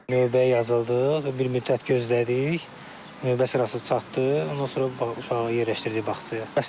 Növbəyə yazıldıq, bir müddət gözlədik, növbə sırası çatdı, ondan sonra uşağı yerləşdirdik bağçaya.